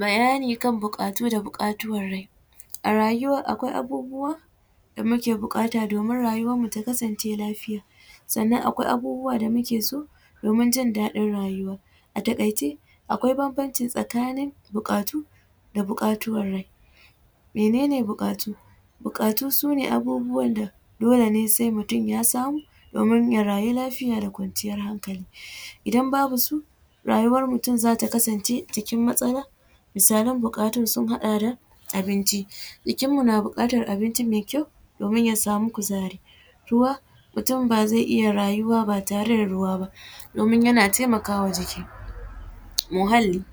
Bayani kan bukatu da bukatuwan rai, a rayuwa akwai abubuwa da muke bukata domin rayuwan mu ta kasance lafiya, sannan akwai abubuwa da muke so domin jin ɗaɗin rayuwa a takaice akwai banbanci tsakanin bukatu da bukatuwar rai, mene ne bukatu? Bukatu sune abubuwan da dole sai mutum ya samu domin ya rayu lafiya da kwanciyar hankali idan babu su rayuwan mutum zata kasance cin matsala, misalam bukatun sun haɗa da abinci, jikin mu na bukatar abinci mai kyau domin ya samu kuzari, ruwa, mutum ba zai iya rayuwa ba tare da ruwa ba domin yana taimakawa jiki, muhalli,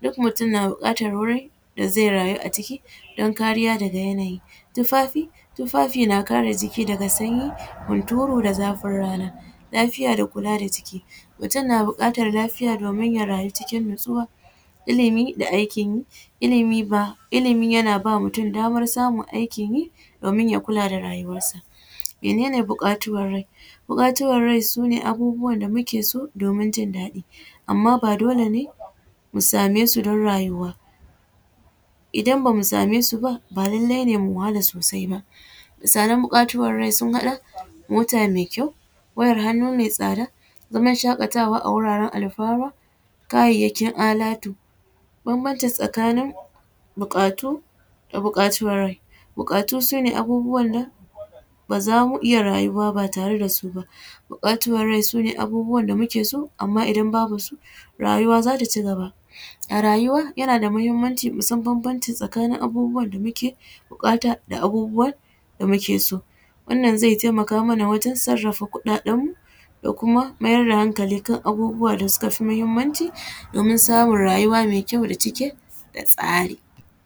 duk mutum na bukatar wuri da zai rayu a ciki don kariya daga yanayi, tufafi na kare jiki daga sanyi hunturu da zafin rana, lafiya da kula da jiki mutum na bukatar lafiya domin ya rayu cikin natsuwa, ilimi da aikin yi ilimi yana ba mutum damar samun aikin yi domin ya kula da rayuwan sa, mene ne bukatuwar rai? Bukatuwar rai sune abubuwan da muke so domin jin ɗaɗi amma ba dole ne mu same su don rayuwa idan bamu same su ba, ba lallai ne mu wahala sosai ba, misalan bukatuwan rai sun haɗa mota mai kyau, wayar hannu mai tsada, zama shakatawa a wuraren alfawa, kayayyakin alatu, banbancin tsakanin bukatu da bukatuwar rai, bukatu sune abubuwan nan baza mu iya rayuwa ba tare dasu ba, bukatuwar rai sune abubuwan da muke so amma idan babu su rayuwa zata cigaba, a rayuwa yana da muhimmanci mu san banbanci tsakanin abubuwan da muke bukata da abubuwan da muke so, wannan zai taimaka mana wajen sarafa kuɗaɗen mu da kuma mayar da hankali kan abubuwa da suka fi muhimmanci domin samun rayuwa mai kyau da yake da tsari.